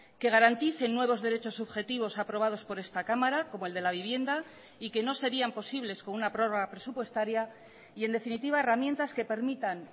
que garanticen nuevos derechos subjetivos aprobados por esta cámara como el de la vivienda y que no serían posibles con una prórroga presupuestaria y en definitiva herramientas que permitan